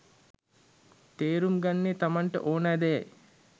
තේරුම් ගන්නේ තමන්ට ඕනෑ දෙයයි.